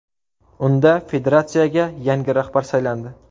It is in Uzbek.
Unda federatsiyaga yangi rahbar saylandi.